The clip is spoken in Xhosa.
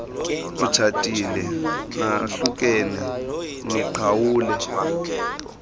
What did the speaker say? utshatile nahlukene niqhawule